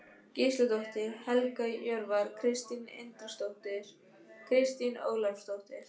Gísladóttir, Helga Hjörvar, Kristín Indriðadóttir, Kristín Ólafsdóttir